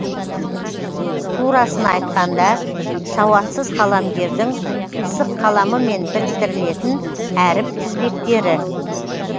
турасын айтқанда сауатсыз қаламгердің қисық қаламымен біріктірілетін әріп тізбектері